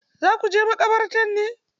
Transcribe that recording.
Za ku je maƙabarta ne?